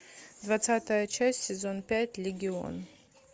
двадцатая часть сезон пять легион